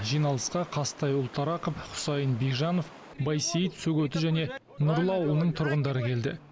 жиналысқа қазтай ұлтарақов хусайын бижанов байсейіт сөгеті және нұрлы ауылының тұрғындары келді